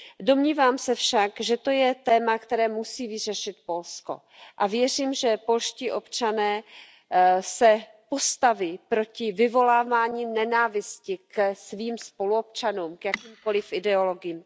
Domnívám se však, že to je téma, které musí vyřešit Polsko. Věřím, že polští občané se postaví proti vyvolávání nenávisti ke svým spoluobčanům, k jakýmkoliv ideologiím.